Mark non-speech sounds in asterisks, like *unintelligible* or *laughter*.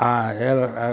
Ah, ela *unintelligible*